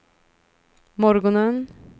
morgonen